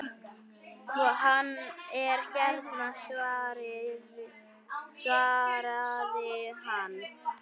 Hann er hérna svaraði hann.